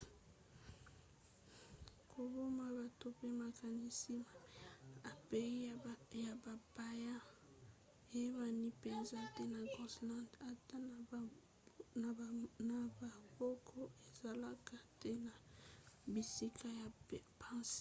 koboma bato pe makanisi mabe epai ya bapaya eyebani mpenza te na groenland. ata na bamboka ezalaka te na bisika ya mpasi.